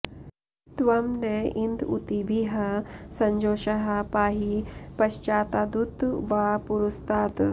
त्वं न इन्द ऊतिभिः सजोषाः पाहि पश्चातादुत वा पुरस्तात्